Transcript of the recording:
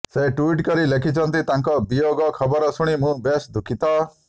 ସେ ଟ୍ୱିଇଟ କରି ଲେଖିଛନ୍ତି ତାଙ୍କ ବିୟୋଗ ଖବର ଶୁଣି ମୁଁ ବେଶ୍ ଦୁଃଖିତ